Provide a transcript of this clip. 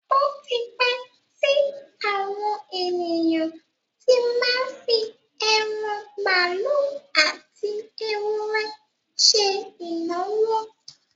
Ó ti pẹ́ tí àwọn ènìyàn tí má ń fi ẹran màálù àti ewúrẹ́ ṣe ìnáwó.